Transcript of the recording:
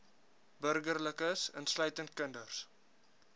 burgerlikes insluitend kinders